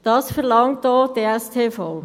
Das verlangt auch die Steuerverwaltung.